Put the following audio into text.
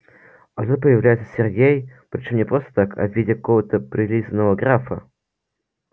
а тут появляется сергей при чём не просто так а в виде какого-то прилизанного графа